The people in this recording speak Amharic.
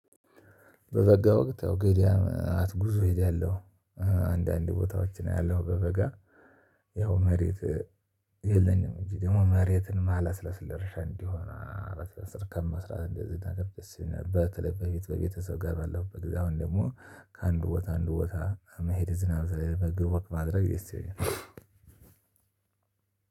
በበጋ ወቅት ያው ገበያ ማለት ጉዞ እሄዳለሁ። አንዳንድ ቦታዎችን አያለሁ። በበጋ መሬት የለኝም። እንጂ ደግሞ መሬትን ማለስለስ ለእርሻ እንዲሆን ለረሻ ስር ከመስራት እንደዚህ ነገር ደስ ይለን። በክለብ ቤት በቤተሰብ ጋር በለው በእግዚአብሔር ደግሞ ከአንድ ቦታ አንድ ቦታ መሄድ እዝናናለሁ። በእግር ወክ ማድረግ የሰውነው